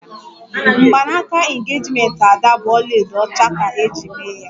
Mgbanaka engejimenti Ada bụ ọlaedo ọcha ka eji mee ya